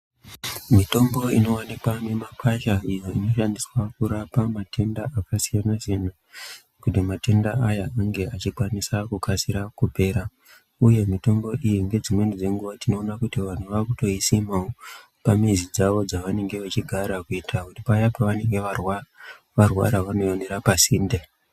Mitombo inowanikwa mumakwasha iyo inoshandiswa matenda akasiyansiyana kuitira kuti matenda aya ange achikasire kupera uyu mitombo iyi tinoona vanhu kuti vanhu vakutoisimawo pamhizi dzavo kuitira kuti paya pavanenge varwara vanoionera pasinde